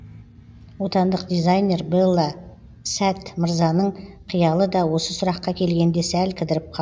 отандық дизайнер белла сәт мырзаның қиялы да осы сұраққа келгенде сәл кідіріп қа